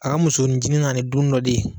A ka musonin cini nana ni dun dɔ de ye.